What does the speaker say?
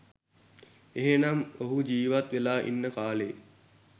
එහෙම නම් ඔහු ජීවත් වෙලා ඉන්න කාලේ